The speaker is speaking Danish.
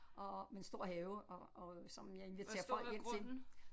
Og med en stor have og og som jeg inviterer folk hjem til